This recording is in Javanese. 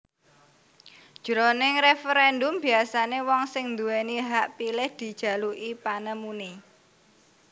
Jroning referendum biasané wong sing nduwèni hak pilih dijaluki panemuné